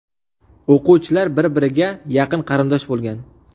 O‘quvchilar bir-biriga yaqin qarindosh bo‘lgan.